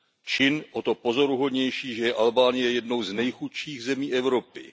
Čin o to pozoruhodnější, že je Albánie jednou z nejchudších zemí Evropy.